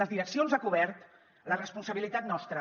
les direccions a cobert la responsabilitat nostra